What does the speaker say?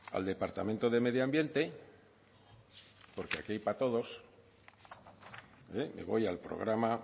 al departamento de medio ambiente porque aquí hay para todos me voy al programa